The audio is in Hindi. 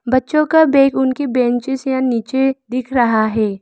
बच्चों का बैग उनकी बेंचेस या नीचे दिख रहा है।